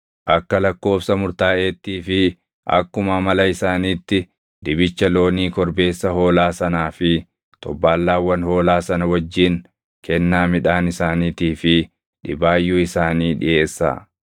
Akka lakkoobsa murtaaʼeettii fi akkuma amala isaaniitti dibicha loonii, korbeessa hoolaa sanaa fi xobbaallaawwan hoolaa sana wajjin kennaa midhaan isaaniitii fi dhibaayyuu isaanii dhiʼeessaa.